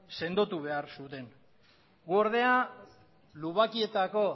sendotu behar zuten guk ordea lubakietako